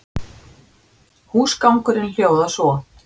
Húsgangurinn hljóðar svo